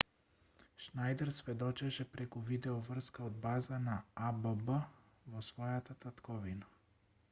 шнајдер сведочеше преку видеоврска од база на авв во својата татковина